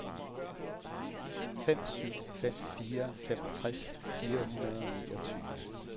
fem syv fem fire femogtres fire hundrede og niogtyve